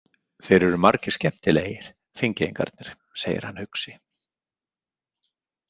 Þeir eru margir skemmtilegir, Þingeyingarnir, segir hann hugsi.